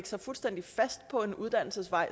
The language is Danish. sig fuldstændig fast på en uddannelsesvej